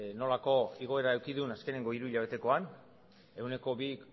nolako igoera eduki duen azkeneko hiruhilabetekoan ehuneko bi